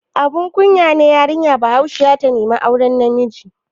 Abun kunya ne yarinya Bahaushiya ta nemi auren namiji?